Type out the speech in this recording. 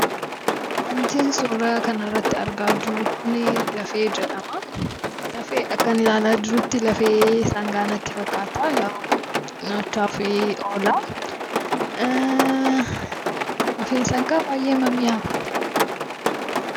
Wantin suuraa kanarratti argaa jiru kun lafee jedhama. Akkan ilaalaa jirutti lafee sangaa natti fakkaata. Nyaataaf oola. Lafeen sangaa baay'ee mi'aawa.